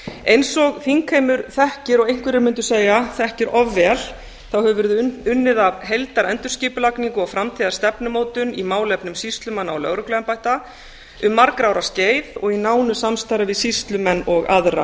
eins og þingheimur þekkir og einhverjir mundu segja þekkir of vel hefur verið unnið að heildarendurskipulagningu og framtíðarstefnumótun í málefnum sýslumanna og lögregluembætta um margra ára skeið og í nánu samstarfi við sýslumenn og aðra